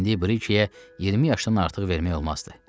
İndi Brikeyə 20 yaşdan artıq vermək olmazdı.